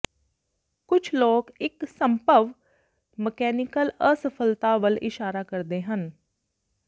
ਕੁਝ ਲੋਕ ਇੱਕ ਸੰਭਵ ਮਕੈਨੀਕਲ ਅਸਫਲਤਾ ਵੱਲ ਇਸ਼ਾਰਾ ਕਰਦੇ ਹਨ